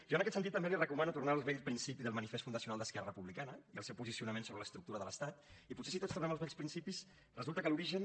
jo en aquest sentit també li recomano tornar als vells principis del manifest fundacional d’esquerra republicana i al seu posicionament sobre l’estructura de l’estat i potser si tots tornem als vells principis resulta que l’origen